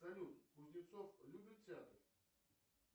салют кузнецов любит театр